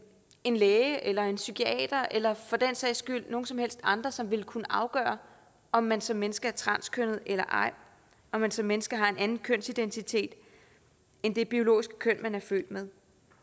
en læge eller en psykiater eller for den sags skyld nogen som helst andre som vil kunne afgøre om man som menneske er transkønnet eller ej om man som menneske har en anden kønsidentitet end det biologiske køn man er født med